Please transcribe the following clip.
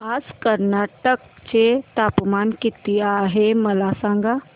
आज कर्नाटक चे तापमान किती आहे मला सांगा